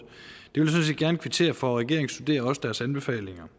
det vil set gerne kvittere for regeringen studerer deres anbefalinger